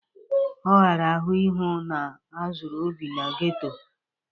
Ọ ghara ahụ ihu na azuru Obi n'geto